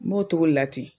N b'o togo de la ten